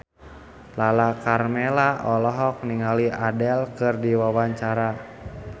Lala Karmela olohok ningali Adele keur diwawancara